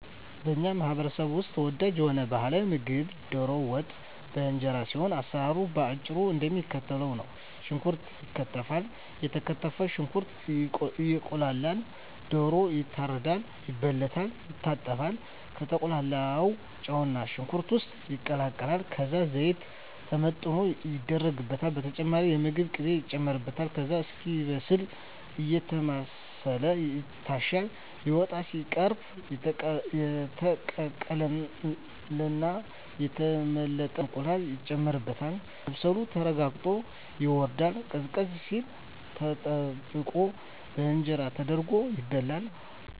በኛ ማህበረሰብ ውስጥ ተወዳጅ የሆነው ባህላዊ ምግብ ደሮ ወጥ በእንጀራ ሲሆን አሰራሩም በአጭሩ እደሚከተለው ነው። ሽንኩርት ይከተፋል የተከተፈው ሽንኩርት እየቁላላ ደሮ ይታረዳል፣ ይበለታል፣ ይታጠባል፣ ከተቁላላው ጨውና ሽንኩርት ውስጥ ይቀላቀላል ከዛ ዘይት ተመጥኖ ይደረግበታል በተጨማሪም የምግብ ቅቤ ይጨመርበታል ከዛ እስኪበስል አየተማሰለ ይታሻል ሊወጣ ሲቃረብ የተቀቀለና የተመለጠ እንቁላል ይጨመርበትና መብሰሉ ተረጋግጦ ይወርድና ቀዝቀዝ ሲል ተጠብቆ በእንጀራ ተደርጎ ይበላል።